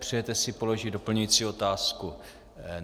Přejete si položit doplňující otázku?